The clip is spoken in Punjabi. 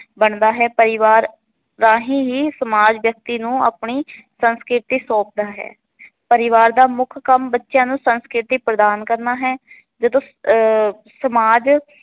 ਬਣਦਾ ਹੈ। ਪਰਿਵਾਰ ਰਾਹੀ ਹੀ ਸਮਾਜ ਵਿਅਕਤੀ ਨੂੰ ਅਪਣੀ ਸੰਸਕ੍ਰਿਤੀ ਸੋਪਦਾ ਹੈ। ਪਰਿਵਾਰ ਦਾ ਮੁੱਖ ਕੰਮ ਬੱਚਿਆ ਨੂੰ ਆਪਣੀ ਸੰਸਕ੍ਰਿਤੀ ਪ੍ਰਦਾਨ ਕਰਨਾ ਹੈ।